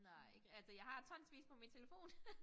Nej ikke altså jeg har tonsvis på min telefon